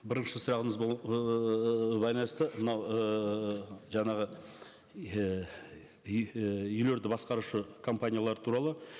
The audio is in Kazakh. бірінші сұрағыңыз ыыы байланысты мынау ыыы жаңағы еее үй і үйлерді басқарушы компаниялар туралы